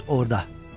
Düz orada.